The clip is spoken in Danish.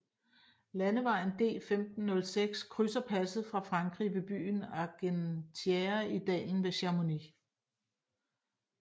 Landevejen D1506 krydser passet fra Frankrig ved byen Argentiére i dalen ved Chamonix